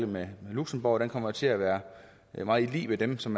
med luxembourg kommer til at være meget lig dem som